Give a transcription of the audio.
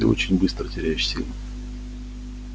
ты очень быстро теряешь силы